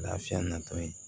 Lafiya natɔ ye